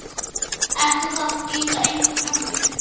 Eftir það gilda engar hömlur.